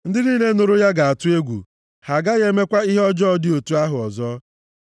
Ndị niile nụrụ ya ga-atụ egwu, ha agaghị emekwa ihe ọjọọ dị otu ahụ ọzọ.